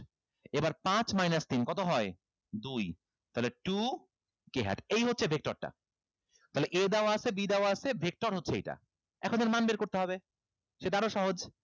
এবার পাঁচ minus তিন কত হয় দুই তাহলে two k had এই হচ্ছে vector টা তাইলে a দেওয়া আছে b দেওয়া আছে vector হচ্ছে এইটা এখন এর মান বের করতে হবে সেটা আরো সহজ